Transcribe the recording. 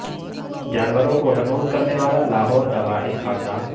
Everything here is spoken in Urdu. جانوروں کو حنوط کرنے والا لاہور کا واحد خاندان